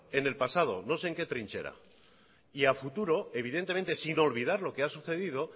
en el pasado no sé en qué trinchera y a futuro evidentemente sin olvidar lo que ha sucedido